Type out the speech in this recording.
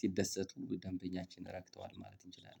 ሲደሰቱ ደንበኛችን ረክቷል ማለት እንችላለን።